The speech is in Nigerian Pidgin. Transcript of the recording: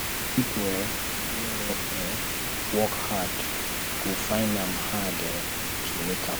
pipo um wey no um work hard go find am hard um to make am